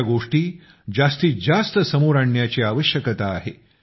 अशा बाबी जास्तीत जास्त समोर आणण्याची आवश्यकता आहे